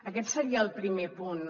aquest seria el primer punt